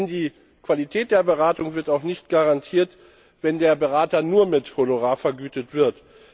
Denn die Qualität der Beratung wird auch nicht garantiert, wenn der Berater nur mit Honorar vergütet wird.